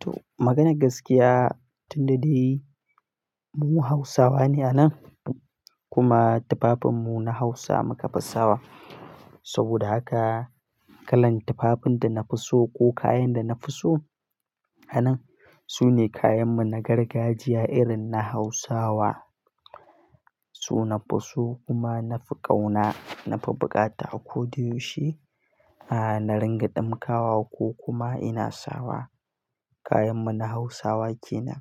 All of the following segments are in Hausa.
To maganar gaskiya tunda dai mu Hausawa ne a nan kuma tufafinmu na Hausa muka fi sawa. Saboda haka kalan tufafin da na fi so ko kayan da na fi so a nan, sune kayanmu na gargajiya irin na Hausawa. Su nafi so kuma na fi ƙauna, na fi bukata a ko da yaushe. A na ringa ɗamkawa ko kuma ina sawa. Kayanmu na Hausawa ke nan.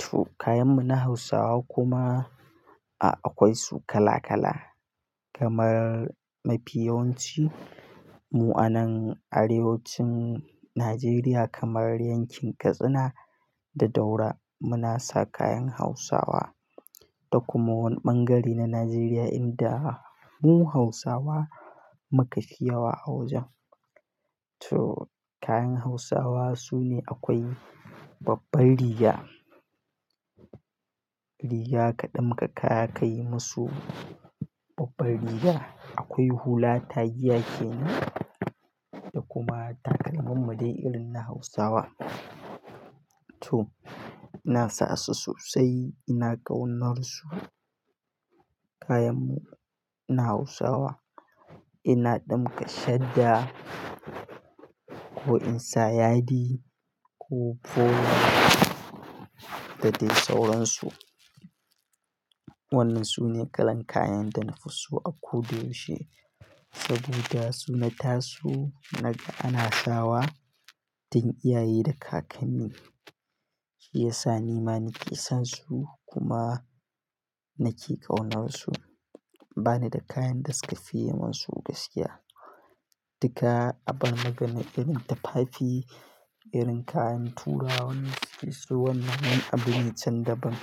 To kayanmu na Hausawa kuma akwai su kala kala. Kamar mafi yawanci mu a nan arewacin Najeriya kamar yankin Katsina da Daura muna sa kayan Hausawa. Da kuma wani ɓangare na Najeriya inda mu Hausawa muka fi yawa a wajen. To kayan Hausawa sune akwai babbar riga, riga kaɗamka ka ka yi musu babbar riga. Akwai hula tagiya ke nan da kuma takalman madai irin na Hausawa. To ina sa su sosai ina ƙaunar su kayanmu na Hausawa. Ina ɗamka shadda ko in sa yadi ko polo da dai sauransu. Wannan sune kalan kayan da na fi so akodayaushe saboda su na taso naga ana sawa tun iyaye da kakanni. Shi yasa ni ma nake son su kuma nake ƙaunar su. Bani da kayan da suka fiye mun su gaskiya. Duka abar magana irin tufafi, irin kayan turawa na saki su wannan abin itacen daban.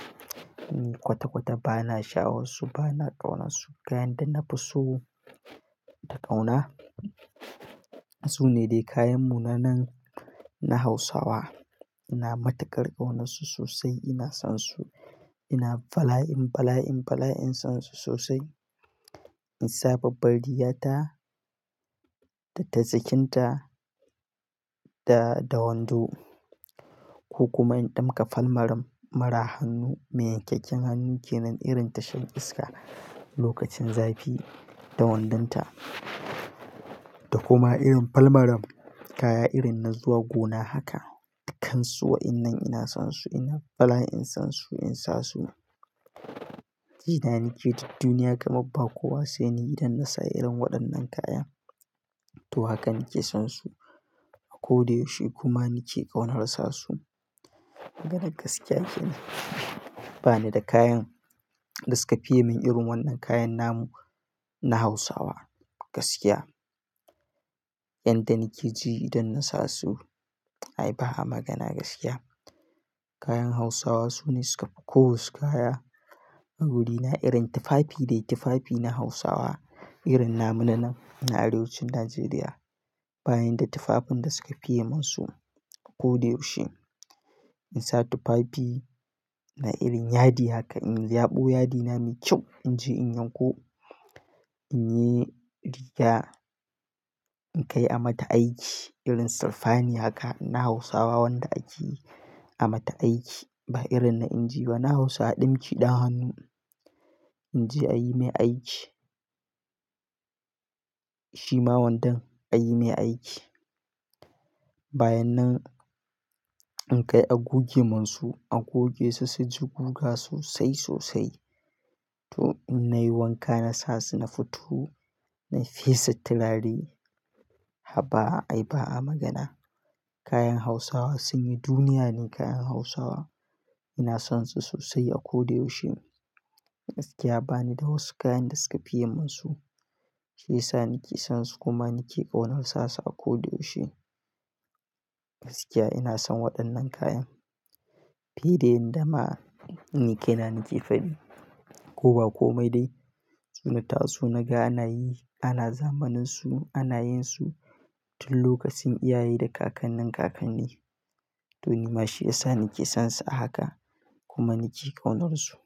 Kwata kwata bana sha'awar su bana ƙaunar su. Kayan da na fi so da ƙauna sune dai kayanmu na nan na Hausawa. Ina matukar ƙaunar su sosai ina son su ina bala'in, bala'in, bala'in son su sosai. In sa babbar riga ta da tazakinta da, da wando ko kuma in ɗamka falmaram mara hannu mai yankakken hannu ke nan irin tashan iska lokacin zafi da wandonta. Da kuma irin falmaram kaya irin na zuwa gona haka. Dukansu wayannan ina son su ina bala'in son su, in sa su. Ina nike duk duniya kamar ba kowa sai ni idan na sa irin waɗannan kaya. To haka nake son su akodayaushe kuma nike ƙaunar sasu. Maganar gaskiya kenan. Bani da kayan da suka fiye min irin wannan kayan namu na Hausawa gaskiya. Yanda nake ji idan na sa su ai ba'a magana gaskiya. Kayan Hausawa sune suka fi ko wasu kaya a wurina irin tufafi dai tufafi na Hausawa irin namu nanan na arewacin Najeriya. Bayan da tufafin da suka fi yi mun su a ko da yaushe. In sa tufafi na irin yadi haka in yaɓo yadina mai kyau. In je in yanko, in yi riga in kai a mata aiki irin sirfani haka na Hausawa wanda ake a mata aiki ba irin na inji ba. Na Hausa a ɗimki ɗan hannu in je a yi mai aiki. Shi ma wandan a yi mai aiki. Bayan nan in kai a goge mun su a goge su sai su guga sosai sosai. To in nayi wanka na sa su na fito na fesa turare. Haba ai ba'a magana. Kayan Hausawa sun yi duniya ne kayan Hausawa. Ina son su sosai a ko da yaushe. Gaskiya bani da wasu kayan da suka fi yi mun su. Shi yasa nake son su kuma nake ƙaunar sa su akodayaushe. Gaskiya ina son waɗannan kayan. Fi da yanda ma ni ke nan nake faɗi. Kowa ko mai dai su na taso naga ana yi, ana zamanin su, ana yin su tun lokacin iyaye da kakannin kakanni. To nima shi yasa nake son su a haka kuma nake ƙaunar su.